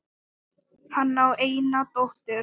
Hann á eina dóttur.